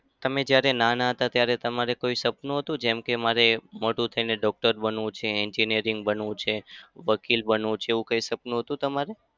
તમે જ્યારે નાના હતા ત્યારે તમારે કોઈ સપનું હતું? જેમ કે મારે મોટો થઇને doctor બનવું છે, engineering બનવું છે, વકીલ બનવું છે. એવું કઈ સપનું હતું તમારે?